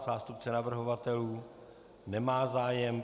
Zástupce navrhovatelů nemá zájem.